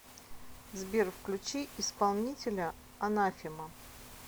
сбер включи исполнителя анафема